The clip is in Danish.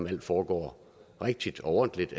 det foregår rigtigt og ordentligt